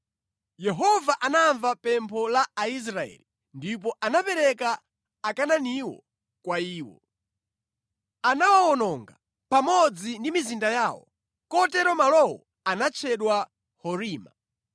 Yehova anamva pempho la Aisraeli ndipo anapereka Akanaaniwo kwa iwo. Anawawononga pamodzi ndi mizinda yawo. Kotero malowo anatchedwa Horima.